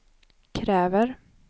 kräver